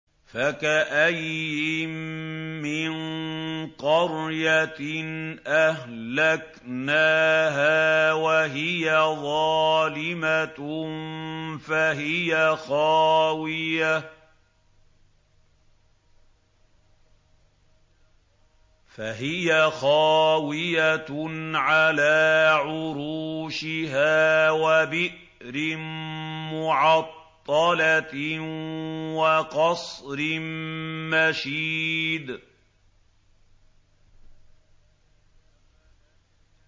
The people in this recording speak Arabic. فَكَأَيِّن مِّن قَرْيَةٍ أَهْلَكْنَاهَا وَهِيَ ظَالِمَةٌ فَهِيَ خَاوِيَةٌ عَلَىٰ عُرُوشِهَا وَبِئْرٍ مُّعَطَّلَةٍ وَقَصْرٍ مَّشِيدٍ